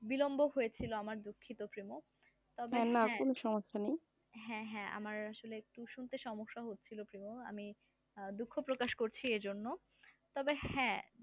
বিলম্ব হয়েছিল আমার দুঃখিত তার জন্য তবে হ্যাঁ না কোন সমস্যা নাই হ্যাঁ হ্যাঁ আমার শুনতে সমস্যা হয়েছিল তো আমি দুঃখ প্রকাশ করছি এজন্য তবে হ্যাঁ